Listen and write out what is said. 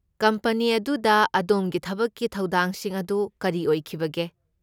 Company ꯑꯗꯨꯗ ꯑꯗꯣꯝꯒꯤ ꯊꯕꯛꯀꯤ ꯊꯧꯗꯥꯡꯁꯤꯡ ꯑꯗꯨ ꯀꯔꯤ ꯑꯣꯏꯈꯤꯕꯒꯦ?